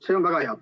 See on väga hea.